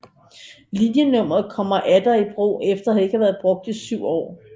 Linjenummeret kommer atter i brug efter ikke at havde været brugt 7år